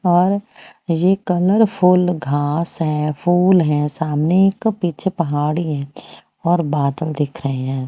और ये कलरफुल घास है फूल है सामने एक पीछे पहाड़ी है और बादल दिख रहे है।